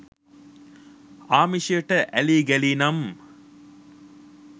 ආමිෂයට ඇලී ගැලී නම්